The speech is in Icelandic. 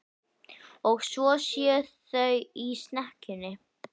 Og svo séu þau í snekkjunni.